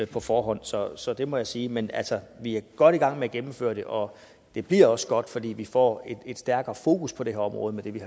på forhånd så så det må jeg sige men altså vi er godt i gang med at gennemføre det og det bliver også godt fordi vi får et stærkere fokus på det her område med det vi